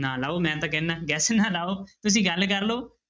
ਨਾ ਲਾਓ ਮੈਂ ਤਾਂ ਕਹਿਨਾ guess ਨਾ ਲਾਓ ਤੁਸੀਂ ਗੱਲ ਕਰ ਲਓ।